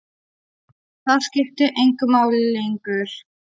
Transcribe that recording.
Það skipti engu máli lengur.